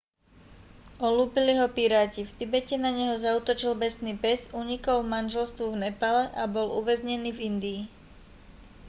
olúpili ho piráti v tibete na neho zaútočil besný pes unikol manželstvu v nepále a bol uväznený v indii